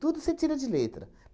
Tudo você tira de letra.